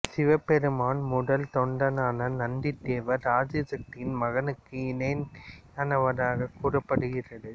சிவபெருமான் முதல் தொண்டனான நந்தி தேவர் ஆதிசக்தியின் மகனுக்கு இணையானவராக கூறப்படுகிறது